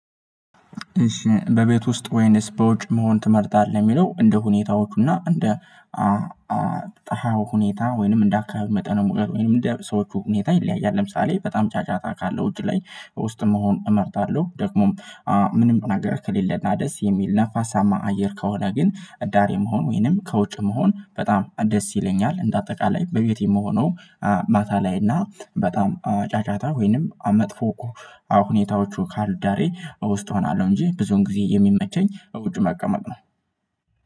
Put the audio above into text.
እሺ በቤት ውስጥ ወይንስ በውጭ መሆን ትመርጣለህ? የሚለው እንደ ሁኔታዎቹ እና እንደ ሁኔታ ወይንም እንደ አካባቢ መጠን ሙሉ ወይንም እንደ ሰዎቹ ሁኔታ ይለያያል ለምሳሌ በጣም ጫጫታ ካለው ውጪ ላይ ውስጥ መሆን እመርጣለሁ ደግሞም ምንም ነገር ከሌለና ደስ የሚል ነፋሳማ አየር ከሆነ ግን እዳር የመሆን ወይንም ከውጭ መሆን በጣም ደስ ይለኛል እንደ አጠቃላይ በቤቴ የምሆነው ማታ ላይ እና በጣም ጫጫታ ወይንም መጥፎ እኮ ሁኔታዎቹ ካልዳሬ ውስጥ እሆናለሁ እንጂ ብዙውን ጊዜ የሚመቸኝ ውጭ መቀመጥ ነው